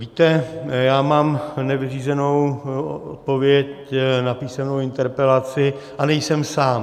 Víte, já mám nevyřízenou odpověď na písemnou interpelaci a nejsem sám.